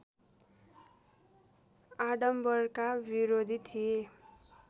आडम्बरका विरोधी थिए